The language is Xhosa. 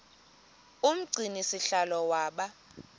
umgcini sihlalo waba